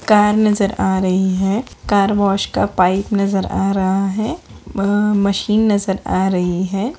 Car नजर आ रही है कार वॉश का पाइप नजर आ रहा है अ मशीन नजर आ रही है।